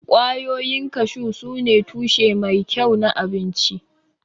Ƙwayoyin kashu sune tushe mai kyau na abinci.